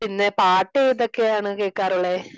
പിന്നെ പാട്ട് ഏതൊക്കെ ആണ് കേൾക്കാറുള്ളെ